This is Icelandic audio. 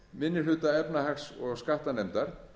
minni hluta efnahags og skattanefndar